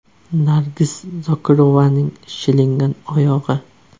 Nargiz Zokirovaning shilingan oyog‘i.